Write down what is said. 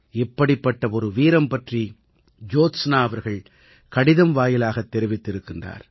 இப்படிப்பட்ட ஒரு வீரம் பற்றி ஜோத்ஸனா அவர்கள் கடிதம் வாயிலாகத் தெரிவித்திருக்கிறார்